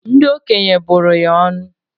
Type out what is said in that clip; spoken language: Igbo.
Ndi okenye bụrụ ya ọnụ